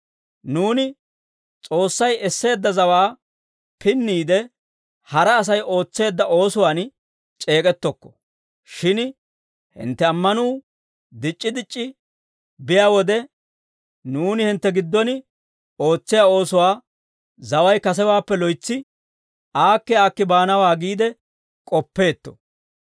Nuuni S'oossay esseedda zawaa pinniide, hara Asay ootseedda oosuwaan c'eek'ettokko; shin hintte ammanuu dic'c'i dic'c'i biyaa wode, nuuni hintte giddon ootsiyaa oosuwaa zaway kasewaappe loytsi aakki aakki baanawaa giide k'oppeetto.